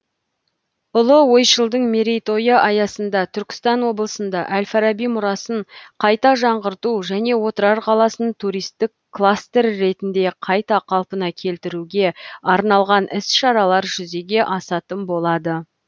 ұлы ойшылдың мерейтойы аясында түркістан облысында әл фараби мұрасын қайта жаңғырту және отырар қаласын туристік кластер ретінде қайта қалпына келтіруге арналған іс шаралар жүзеге асатын болады